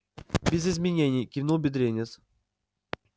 без изменений кивнул бедренец